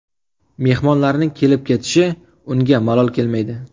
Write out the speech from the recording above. Mehmonlarning kelib-ketishi unga malol kelmaydi.